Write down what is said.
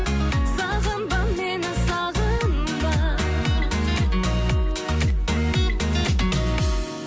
сағынба мені сағынба